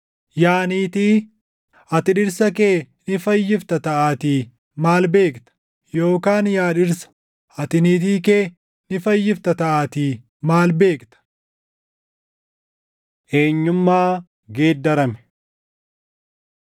Yaa niitii, ati dhirsa kee ni fayyifta taʼaatii maal beekta? Yookaan yaa dhirsa, ati niitii kee ni fayyifta taʼaatii maal beekta? Eenyummaa Geeddarame